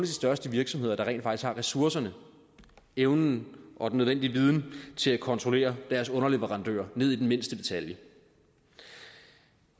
største virksomheder der rent faktisk har ressourcerne evnen og den nødvendige viden til at kontrollere deres underleverandører ned i mindste detalje